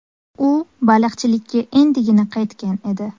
U baliqchilikka endigina qaytgan edi.